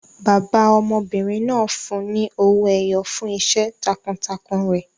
Bàbá ọmọbìnrin náà fún un ní owó ẹyọ fún iṣẹ́ takuntakun rẹ̀.